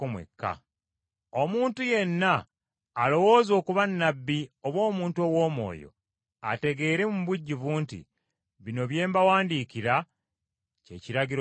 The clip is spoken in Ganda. Omuntu yenna alowooza okuba nnabbi oba omuntu ow’omwoyo, ategeere mu bujjuvu nti bino bye mbawandiikira kye kiragiro kya Mukama.